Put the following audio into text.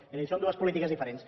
és a dir són dues polítiques diferents